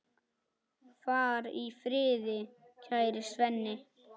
Far í friði, kæri Svenni.